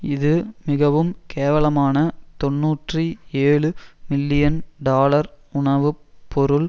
இது மிகவும் கேவலமான தொன்னூற்றி ஏழு மில்லியன் டாலர் உணவு பொருள்